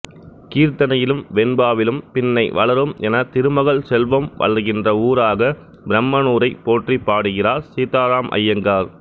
கீர்த்தனையிலும் வெண்பாவிலும் பின்னைவளரும் எனத் திருமகள் செல்வம் வளர்கின்ற ஊராகப் பிரமனூரைப் போற்றிப் பாடுகிறார் சீதராம்ய்யாங்கார்